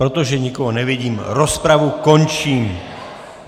Protože nikoho nevidím, rozpravu končím.